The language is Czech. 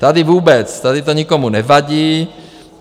Tady vůbec, tady to nikomu nevadí.